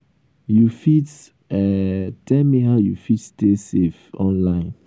you fit um tell me how you fit stay safe um online?